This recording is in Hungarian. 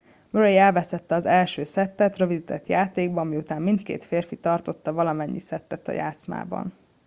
murray elvesztette az első szettet rövidített játékban miután mindkét férfi tartotta valamennyi szettet a játszmában